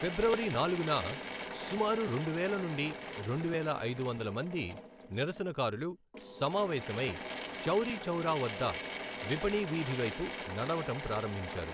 ఫిబ్రవరి నాలుగున, సుమారు రెండువేల నుండి రెండువేల ఐదు వందలు మంది నిరసనకారులు సమావేశమై చౌరీ చౌరా వద్ద విపణి వీధి వైపు నడవటం ప్రారంభించారు.